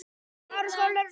Fegurð er afstætt hugtak.